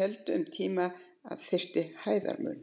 héldu um tíma að þyrfti hæðarmun.